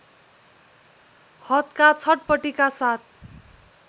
हदका छटपटीका साथ